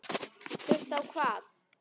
Hlusta á hvað?